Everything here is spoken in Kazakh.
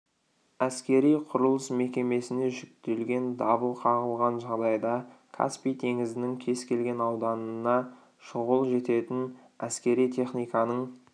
әскери-құрылыс мекемесіне жүктелген дабыл қағылған жағдайда каспий теңізінің кез келген ауданына шұғыл жететін әскери техниканың